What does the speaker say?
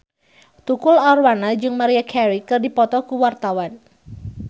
Tukul Arwana jeung Maria Carey keur dipoto ku wartawan